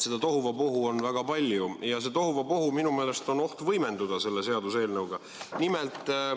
Seda tohuvabohu on väga palju ja sellel tohuvabohul minu meelest on oht selle seaduseelnõu mõjul võimenduda.